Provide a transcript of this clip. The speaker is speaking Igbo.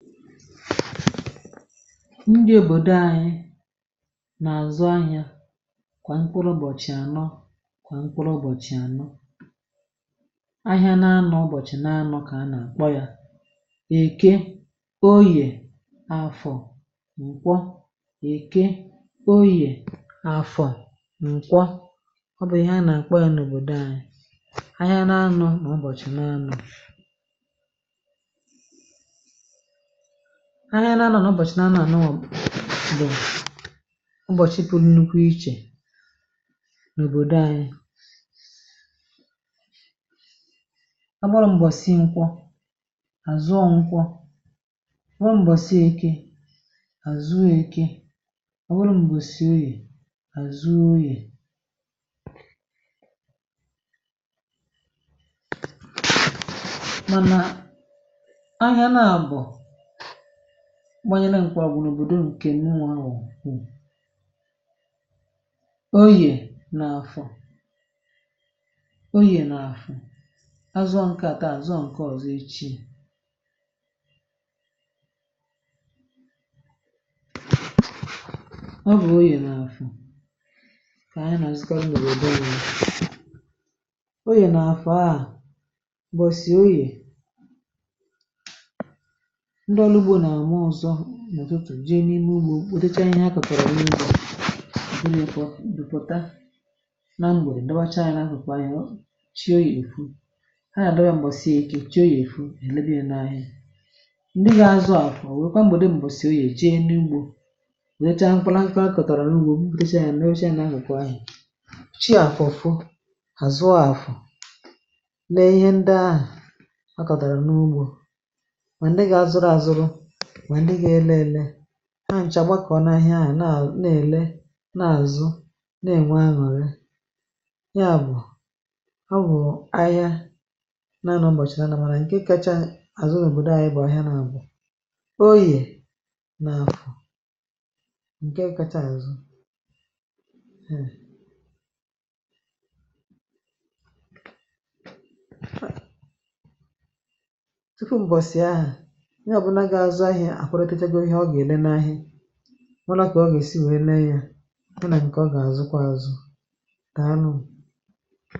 ndị òbòdo anyị nà àzụ ahịȧ, kwà nkpụrụ ụbọ̀chị̀ ànọ, kwà nkpụrụ ụbọ̀chị̀ ànọ, ahịa n’anọ̇, ụbọ̀chị̀ n’anọ̇, kà a nà àkpọ ya èke, oyè, afọ̀, m̀kwọ, èke, oyè, afọ̇, à, m̀kwọ. Ọ bụ̀ ị̀he a nà àkpọ ya n’òbòdo anyị̇, ahịa n’anụ̇, nà ụbọ̀chị̀ n’anụ̇, ahịa na-anà n’ụbọ̀chị̀ na-anà n’ọbụ̀, bụ̀ ụbọ̀chị̀ pụrụ nnukwu ichè n’òbòdò anyị̇. Agbàrà m̀gbòsị, nkwọ, àzụọ nkwọ, nwọrọ m̀gbòsịe, èke, àzụọ èke, ọ̀ wụrụ m̀gbò sì, oyè, àzụọ oyè, gbanyela nke n’òbòdò. Ǹkè nwaà nwọ̀ hụ̀ onye n’afọ, onye n’afọ azụ̀, akata azụ̀ ǹke ọ̀zọ, ochi, ọ bụ̀ onye n’afọ, kà anyị nà ziga n’òbòo, onye onye nà afọ ahụ̀ bụ̀ sì onye, ihe n’ime ugbȯ, òtù e chie ihe ha kọ̀tàrà, ihe ugbȯ, ị bụ̇ n’ekwọ̇, ị̀ dòpòta, naa, nwèrè ǹdụbàcha nà nà ha, kòkwa ihe o chi, oyi èfu, ha yà, nàghị m̀bọ̀ sie, èke chi, oyi èfu nà ènebi, nȧ ȧhịȧ. Ǹdị gị̇ azụ àfụ̀, o nwèkwa m̀gbè di m̀bọ̀sì, oyi̇ è ji e n’ugbȯ wèe chi ahụ̀, mkpala nkwu̇ ha kọ̀tàrà n’ugbȯ, o kpùte e, nà-echė nà ha gòkwu anyị̀ chi, àfụ̀ ụ̀fụ, àzụ a àfụ̀, nà ihe ndị ahụ̀ a kọ̀tàrà n’ugbȯ, ha nchà gbakọ̀ n’ahịa. Ahịa na-à, na-èle, na-àzụ, na-ènwe, ha nọ̀ dị, ya bụ̀ ọ bụ̀ ahịa na nọ̀ ọ̀bọ̀chị̀rị̀ anà, mànà ǹke kacha àzụ n’òbòdo à, ya bụ̀ ahịa nà àbụ̀ oyè, nà afọ̀. Ǹkè kacha àzụ akwụrụ, tẹchagoro ihe ọ ga-ele n’ahịa, ọ nakwà, ọ gàsị wee lee ya, ọ nà àbịkà, ọ gà àzụkwà, àzụkwà ànù.